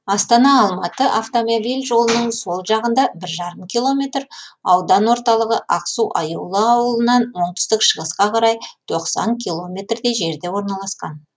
астана алматы автомобиль жолының сол жағында бір жарым километр аудан орталығы ақсу аюлы ауылынан оңтүстік шығысқа қарай тоқсан километрдей жерде орналасқан